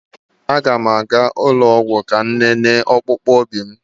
A ga m aga ụlọ ọgwụ ka m lelee ọkpụ obi m